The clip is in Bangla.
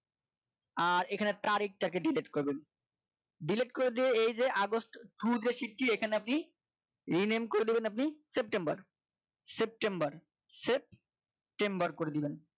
আর এখানে আরেকটা কে delete করবেন delete করে দিয়ে এই যে আগস্ট through যে shift টি এখানে আপনি rename করে দেবেন আপনি september করে দেবেন আপনি september করে দেবেন